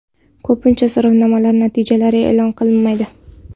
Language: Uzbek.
Ko‘pincha so‘rovnomalar natijalari e’lon qilinmaydi.